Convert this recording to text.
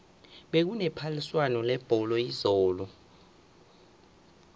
bekune phaliswano lebholo izolo